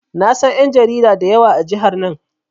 Na san ƴan jarida da yawa a jihar nan.